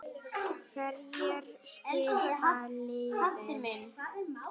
Hverjir skipa liðið?